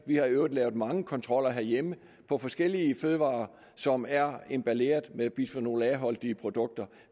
vi har i øvrigt lavet mange kontroller herhjemme af forskellige fødevarer som er emballeret med bisfenol a holdige produkter